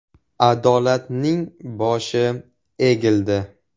Adolatning boshi egildi.